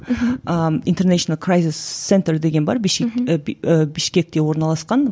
ыыы интернейшнл крайзес центр деген бар ііі бішкекте орналасқан